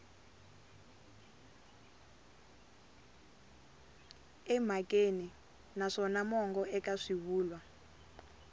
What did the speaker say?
emhakeni naswona mongo eka swivulwa